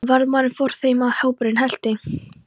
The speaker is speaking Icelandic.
Varðmaðurinn fór fyrir þeim og hópurinn elti.